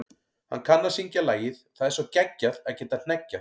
Hann kann að syngja lagið Það er svo geggjað að geta hneggjað.